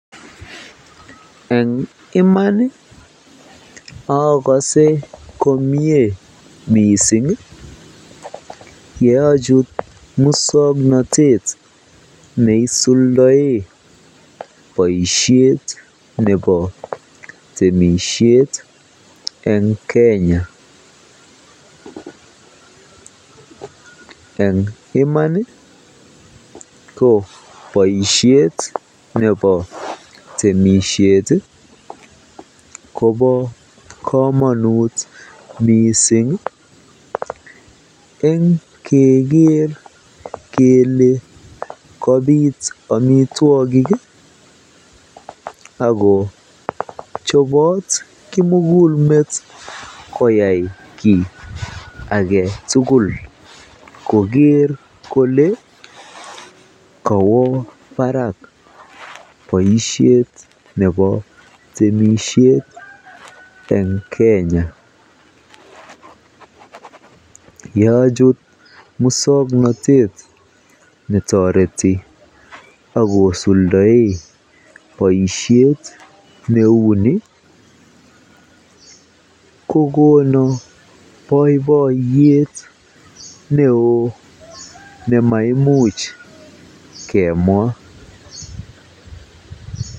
Eng iman okose komnye mising yeochut muswoknotet neisuldoen boishet nebo temishet en Kenya, eng iman ko boishet nebo temishet kobo komonut mising eng keker kelee kobit omitwokik ak ko chobot kimukulmet koyai kii aketukul koker kolee kowoo barak boishet nebo temishet eng Kenya, yochut muswoknotet netoreti ak kosuldoen boishet neu nii kokonu boiboiyet neoo nemaimuch kemwaa.